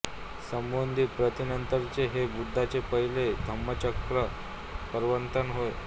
सम्बोधी प्राप्तीनंतरचे हे बुद्धाचे पहिले धम्मचक्र प्रवर्तन होय